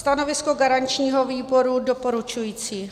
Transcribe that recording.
Stanovisko garančního výboru doporučující.